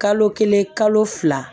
Kalo kelen kalo fila